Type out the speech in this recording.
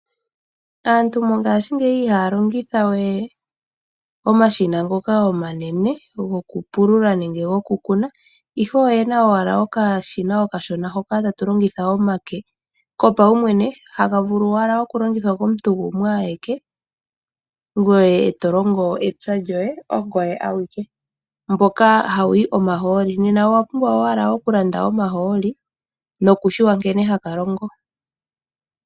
Aantu mongashingeyi ihaya longitha we omashina ngoka omanene gokupulula nenge gokukuna ihe oyena owala okashina okashona hoka kopaumwene haka vulu owala okulongithwa komuntu gumwe awike ngoye e tolongo epya lyoye ongoye awike. Mboka hawu yi omahooli. Owapumbwa owala okulanda omahooli nokutseya nkene haka longo.